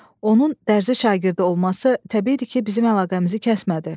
Onun dərzi şagirdi olması təbiidir ki, bizim əlaqəmizi kəsmədi.